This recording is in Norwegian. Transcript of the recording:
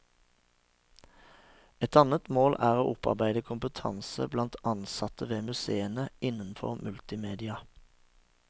Et annet mål er å opparbeide kompetanse blant ansette ved museene innenfor multimedia.